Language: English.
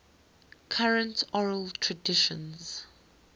current oral traditions